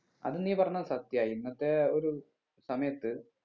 അത് നീ പറഞ്ഞത് സത്യാ ഇന്നത്തെ ഒരു സമയത്ത്